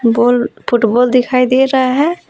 गोल football दिखाई दे रहा है।